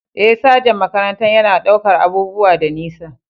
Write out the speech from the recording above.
Eh, sajan makarantar yana ɗaukar abubuwa da nisa.